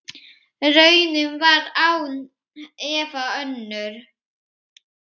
Raunin var án efa önnur.